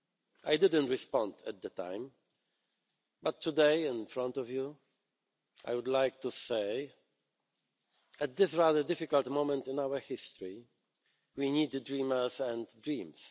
I didn't respond at the time, but today, in front of you, I would like to say at this rather difficult moment in our history, we need the dreamers and dreams.